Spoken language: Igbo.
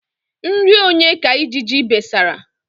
Nri onye ka ijiji besara?